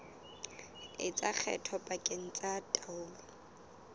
etsa kgetho pakeng tsa taolo